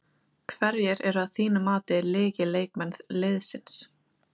Hverjir eru að þínu mati lykilleikmenn liðsins?